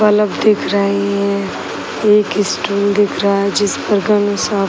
Bulb दिख रहे हैं। एक स्टूल दिख रहा है जिसपर --